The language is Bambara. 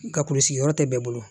N ka kulusi yɔrɔ tɛ bɛɛ bɛɛ bolo